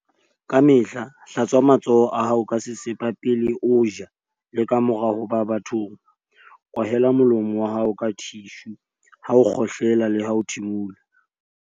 Kamehla hlatswa matsoho a hao ka sesepa pele o ja le kamora ho ba bathong. Kwahela molomo wa hao ka thishu ha o kgohlela leha ho thimola.